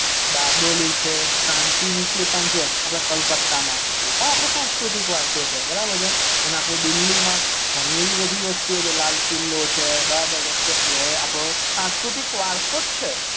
બારડોલી છે સન્તીનીકેતન છે અપડે કલકતા માં એ આપડો સાંસ્કૃતિક વારસો છે બરાબર અને આપડે દિલ્લી માં ગણી એવી વસ્તુઓ છે લાલ કિલ્લો છે બરાબર છે તો એ આપડો સાંસ્કૃતિક વારસો જ છે